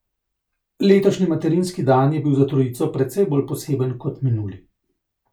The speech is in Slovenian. Letošnji materinski dan je bil za trojico precej bolj poseben kot minuli.